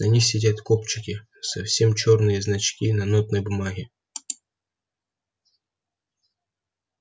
на них сидят кобчики совсем чёрные значки на нотной бумаге